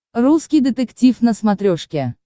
русский детектив на смотрешке